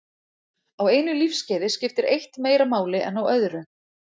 Á einu lífskeiði skiptir eitt meira máli en á öðru.